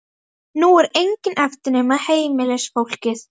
Nú er enginn eftir nema heimilisfólkið.